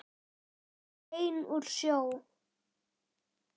Ekki bein úr sjó.